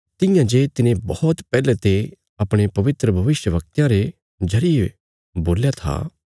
तियां जे तिने बौहत पैहले ते अपणे पवित्र भविष्यवक्तयां रे जरिये बोल्या था